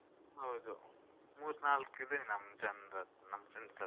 ಹೌದು, ಮೂರ್ ನಾಲ್ಕು ಇದೆ ನಮ್ ಜನ್ರತ್ರ ನಮ್ friends ಹತ್ರ.